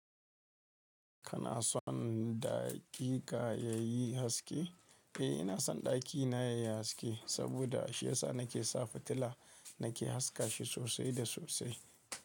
Kana son ɗakika yayi haske? Eh ina son ɗakina yayi haske saboda shi ya sa nake sa fitila nake haska shi sosai da sosai.